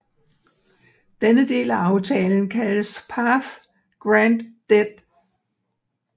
Denne del af aftalen kaldtes Path Grand Deed